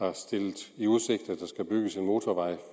har stillet i udsigt at der skal bygges en motorvej